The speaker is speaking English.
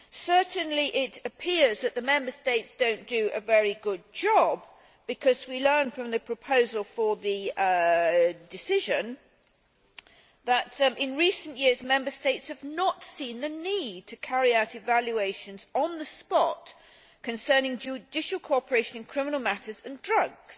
Certainly, it appears that the Member States do not do a very good job because we learn from the proposal for a decision that in recent years, Member States have not seen the need to carry out evaluations on the spot concerning judicial cooperation in criminal matters and drugs.